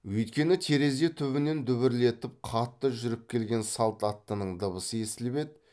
өйткені терезе түбінен дүбірлетіп қатты жүріп келген салт аттының дыбысы естіліп еді